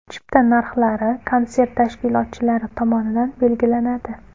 Chipta narxlari konsert tashkilotchilari tomonidan belgilanadi.